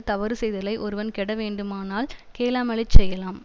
தவறு செய்தலை ஒருவன் கெட வேண்டுமானால் கேளாமலேச் செய்யலாம்